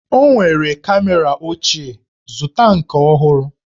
O nwere kamera ochie, zụta nke ọhụrụ!